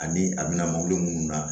Ani a bɛna mobili munnu na